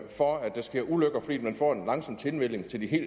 for at der sker ulykker fordi man få en lang tilvænning